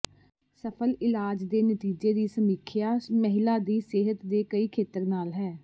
ਸਫਲ ਇਲਾਜ ਦੇ ਨਤੀਜੇ ਦੀ ਸਮੀਖਿਆ ਮਹਿਲਾ ਦੀ ਸਿਹਤ ਦੇ ਕਈ ਖੇਤਰ ਨਾਲ ਹੈ